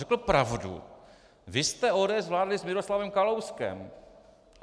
Řekl pravdu: "Vy jste, ODS, vládli s Miroslavem Kalouskem."